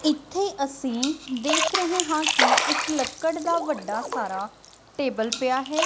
ਇੱਥੇ ਅਸੀਂ ਦੇਖ ਰਹੇ ਹਾਂ ਕਿ ਇਕ ਲੱਕੜ ਦਾ ਵੱਡਾ ਸਾਰਾ ਟੇਬਲ ਪਿਆ ਹੈ।